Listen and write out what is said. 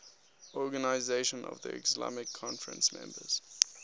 organisation of the islamic conference members